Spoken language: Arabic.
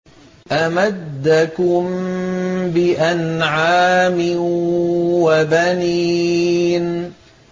أَمَدَّكُم بِأَنْعَامٍ وَبَنِينَ